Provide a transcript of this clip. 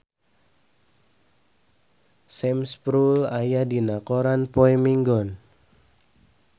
Sam Spruell aya dina koran poe Minggon